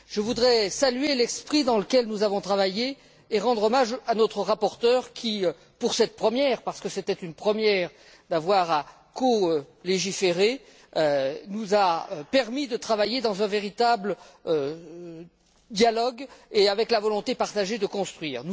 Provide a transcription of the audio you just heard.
Je voudrais saluer l'esprit dans lequel nous avons travaillé et rendre hommage à notre rapporteur qui, pour cette première, parce que c'était une première d'avoir à colégiférer, nous a permis de travailler dans un véritable dialogue et avec la volonté partagée de construire.